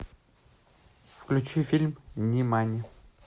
включи фильм нимани